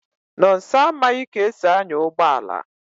Nonso amaghị ka e si anya ụgbọala